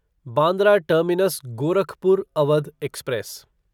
Bandra terminus Gorakhpur Awadh express